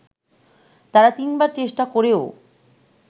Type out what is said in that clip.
তারা তিনবার চেষ্টা করেও